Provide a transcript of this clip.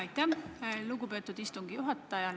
Aitäh, lugupeetud istungi juhataja!